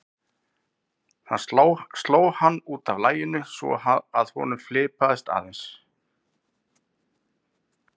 Það sló hann út af laginu svo að honum fipaðist aðeins.